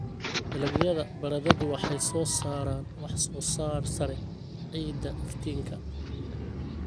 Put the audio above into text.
Dalagyada baradhadu waxay soo saaraan wax-soo-saar sare ciidda iftiinka.